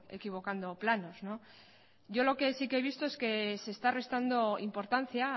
equivocando planos yo lo que sí que he visto es que se está restando importancia